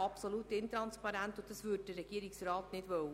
Dergleichen würde der Regierungsrat nicht wollen.